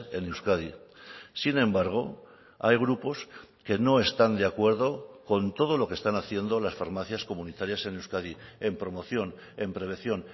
en euskadi sin embargo hay grupos que no están de acuerdo con todo lo que están haciendo las farmacias comunitarias en euskadi en promoción en prevención